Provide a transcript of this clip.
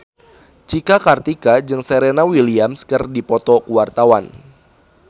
Cika Kartika jeung Serena Williams keur dipoto ku wartawan